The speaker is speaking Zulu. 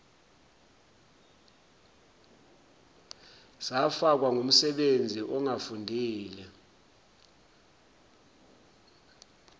sifakwa ngumsebenzi ongafundile